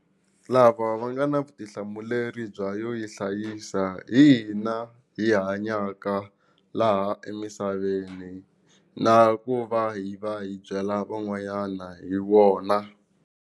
Lava va nga na vutihlamuleri bya yo yi hlayisa hi hina hi hanyaka laha emisaveni na ku va hi va hi byela van'wanyana hi wona.